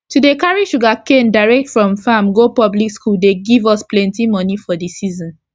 to dey carry sugarcane direct from farm go public school dey give us plenti moni for d season